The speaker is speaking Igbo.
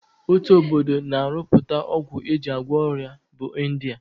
Otu obodo na-arụpụta ọgwụ e ji agwọ ọrịa bụ India